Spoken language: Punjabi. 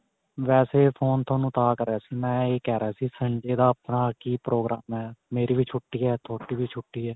ਵੈਸੇ phone ਤੁਹਾਨੂੰ ਤਾਂ ਕਰਿਆ ਸੀ. ਮੈਂ ਇਹ ਕਿਹ ਰਿਹਾ ਸੀ. Sunday ਦਾ ਆਪਣਾ ਕੀ ਪ੍ਰੋਗਰਾਮ ਏ ਮੇਰੀ ਵੀ ਛੁੱਟੀ ਏ ਤੁਹਾਡੀ ਵੀ ਛੁੱਟੀ ਏ